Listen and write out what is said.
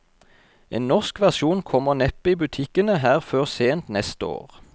En norsk versjon kommer neppe i butikkene her før sent neste år.